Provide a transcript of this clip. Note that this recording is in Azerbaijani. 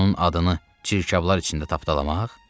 Onun adını çirkablar içində tapdalamaq?